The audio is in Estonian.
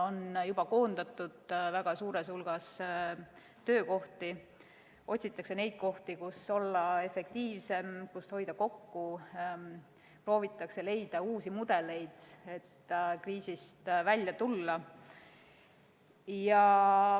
On juba koondatud väga suur hulk töökohti, otsitakse kohti, kus olla efektiivsem, kust hoida kokku, proovitakse leida uusi mudeleid, et kriisist välja tulla.